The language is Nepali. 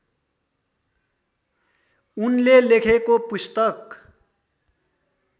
उनले लेखेको पुस्तक